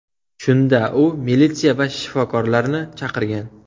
Shunda u militsiya va shifokorlarni chaqirgan.